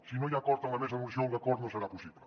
si no hi ha acord en la mesa de negociació l’acord no serà possible